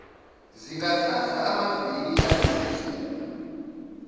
zingathatha amaviki ayisithupha